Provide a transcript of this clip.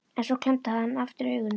En svo klemmdi hann aftur augun.